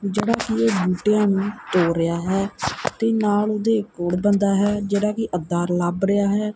ਜਿਹੜਾ ਕੀ ਇਹ ਬੂਟਿਆਂ ਨੂੰ ਤੋੜ ਰਿਹਾ ਹੈ ਤੇ ਨਾਲ ਓਹਦੇ ਇੱਕ ਹੋਰ ਬੰਦਾ ਹੈ ਜਿਹਦਾ ਕੀ ਅਧਾਰ ਲੱਭ ਰਿਹਾ ਹੈ।